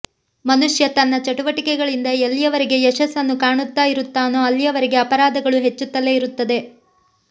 ಮನುಷ್ಯ ತನ್ನ ಚಟುವಟಿಕೆಗಳಿಂದ ಎಲ್ಲಿಯವರೆಗೆ ಯಶಸ್ಸನ್ನು ಕಾಣುತ್ತಾ ಇರುತ್ತಾನೋ ಅಲ್ಲಿಯವರೆಗೆ ಅಪರಾಧಗಳು ಹೆಚ್ಚುತ್ತಲೇ ಇರುತ್ತವೆ